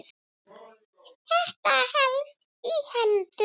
Þetta helst í hendur.